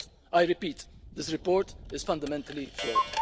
I repeat, this report is fundamentally flawed.